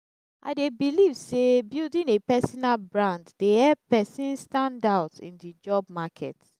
i dey believe say building a personal brand dey help person stand out in di job market.